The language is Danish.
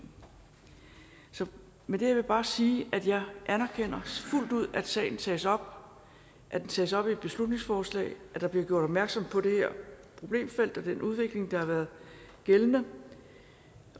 med det vil jeg bare sige at jeg anerkender fuldt ud at sagen tages op at den tages op i et beslutningsforslag at der bliver gjort opmærksom på det her problemfelt og den udvikling der har været gældende